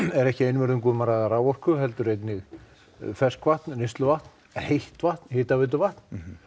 er ekki einvörðungu um að ræða raforku heldur einnig ferskvatn neysluvatn heitt vatn hitaveituvatn